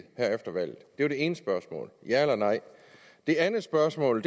her efter valget det er det ene spørgsmål ja eller nej det andet spørgsmål